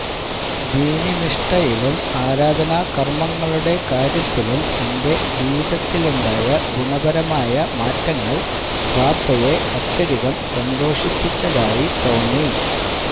ദീനീനിഷ്ഠയിലും ആരാധനാകര്മങ്ങളുടെ കാര്യത്തിലും എന്റെ ജീവിതത്തിലുണ്ടായ ഗുണപരമായ മാറ്റങ്ങള് വാപ്പയെ അത്യധികം സന്തോഷിപ്പിച്ചതായി തോന്നി